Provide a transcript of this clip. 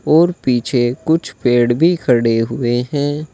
और पीछे कुछ पेड़ भी खड़े हुए हैं।